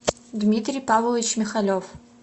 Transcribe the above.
дмитрий павлович михалев